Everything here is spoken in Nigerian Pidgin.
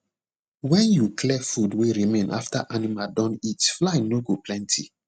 when you clear food wey remain after animal don eat fly no go plenty